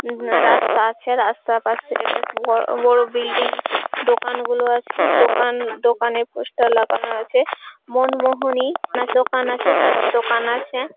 উম রাস্তা আছে রাস্তার পাশে বেশ বড় বড় বিল্ডিং । দোকানগুলো আছে দোকান দোকানে পোস্টার লাগানো আছে। মোনমোহনীর দোকান আছে দোকান আছে।